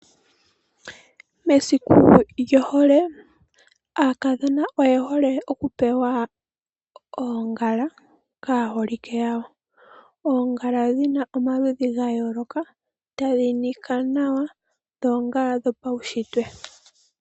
Mesiku lyohole aakadhona oye hole okupewa oongala kaaholike yawo. Oongala dhina omaludhi ga yooloka, tadhi nika nawa dho oongala dho paunshitwe.